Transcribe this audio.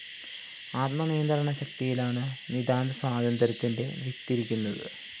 ആത്മനിയന്ത്രണ ശക്തിയിലാണ്‌ നിതാന്ത സ്വാതന്ത്ര്യത്തിന്റെ വിത്തിരിക്കുന്നത്‌